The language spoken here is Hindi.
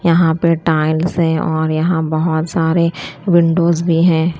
यहां पे टाइल्स है और यहां बहोत सारे विंडोज़ भी हैं।